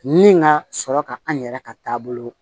Ni ka sɔrɔ ka an yɛrɛ ka taabolo